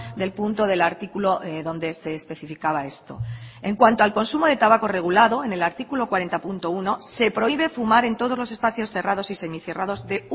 del punto del artículo donde se especificaba esto en cuanto al consumo de tabaco regulado en el artículo cuarenta punto uno se prohíbe fumar en todos los espacios cerrados y semicerrados de